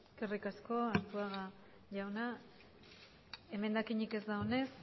eskerrik asko arzuaga jauna emendakinik ez dagoenez